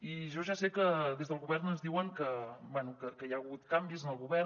i jo ja sé que des del govern ens diuen que bé hi ha hagut canvis en el govern